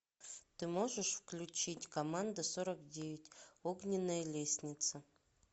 ты можешь включить команда сорок девять огненная лестница